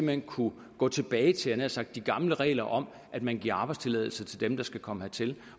hen kunne gå tilbage til nær sagt de gamle regler om at man giver arbejdstilladelse til dem der skal komme hertil